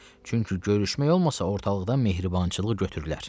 Çünki görüşmək olmasa ortalıqdan mehribançılıq götürülər.